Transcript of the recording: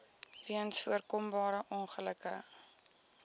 weens voorkombare ongelukke